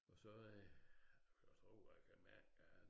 Og så øh du kan da tro at jeg kan mærke at